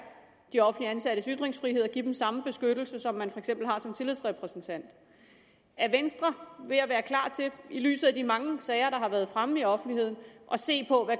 de offentligt ansattes ytringsfrihed og give dem samme beskyttelse som man for eksempel har som tillidsrepræsentant er venstre ved at være klar til i lyset af de mange sager der har været fremme i offentligheden at se på